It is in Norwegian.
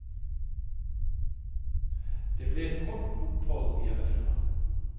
Det ble et kort opphold hjemmefra.